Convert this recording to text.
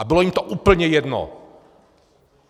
A bylo jim to úplně jedno.